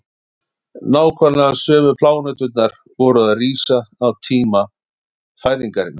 nákvæmlega sömu pláneturnar voru að rísa á tíma fæðingarinnar